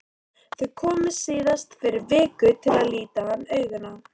Þau komu síðast fyrir viku til að líta hann augum.